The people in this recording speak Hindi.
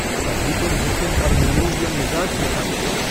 तभी तो मोहसिन और महमूद यों मिज़ाज दिखाते हैं।